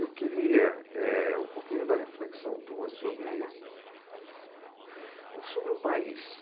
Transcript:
Eu queria eh um pouquinho da reflexão tua sobre sobre o país.